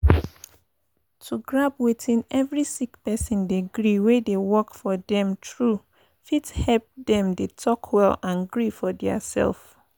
to grab wetin evri sick person dey gree wey dey work for dem tru fit epp dem dey talk well and gree for dia sef.